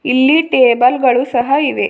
ಇಲ್ಲಿ ಟೇಬಲ್ ಗಳು ಸಹ ಇವೆ.